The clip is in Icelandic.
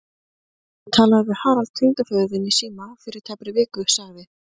Ég talaði við Harald tengdaföður þinn í síma fyrir tæpri viku sagði